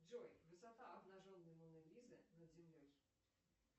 джой высота обнаженной моны лизы над землей